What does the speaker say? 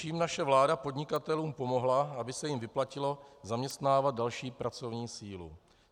Čím naše vláda podnikatelům pomohla, aby se jim vyplatilo zaměstnávat další pracovní sílu?